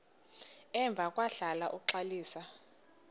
emva kwahlala uxalisa